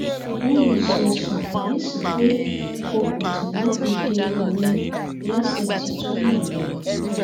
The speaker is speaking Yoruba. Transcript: bòun ṣe ṣàkíyèsí pé okùn tí wọn fi de òun léṣe ti tú nìyẹn